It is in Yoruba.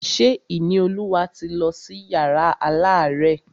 Ṣé Ìníolúwa ti lọ sí yàrá alárẹ̀?